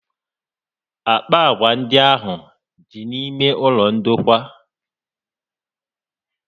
Àkpà agwà ndị ahụ dị n'ime ụlọ ndokwa